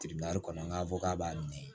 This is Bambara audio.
kɔnɔ an k'a fɔ k'a b'a min